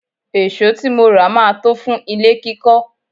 Èsó tí mo rà máa tó fún ilé kíkọ́.